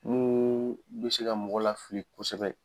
mun be se ka mɔgɔ la fili kosɛbɛ